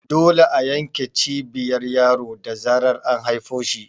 Dole a yanke Cibiyar yaro da zarar an haifo shi